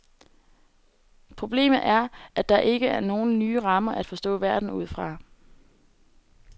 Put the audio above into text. Problemet er, at der ikke er nogle nye rammer at forstå verden ud fra.